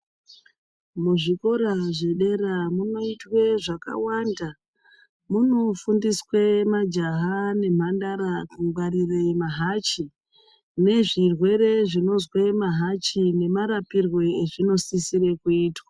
Muzvikora zvedera munoitwe zvakawanda munofundiswe majaha nemhandara kungwarire mahacbi nezvirwere zvinozwe mahachi nemarapiree ezvinosisire kuitwa.